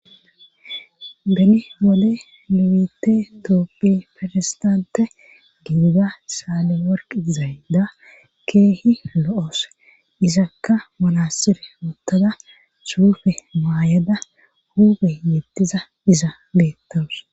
beni wode nu biite tooppi ferisdante gidiga saale worq zayda keehi lo7oos izakka manaxire wothada suufe maayada hube yettiza iza beettoos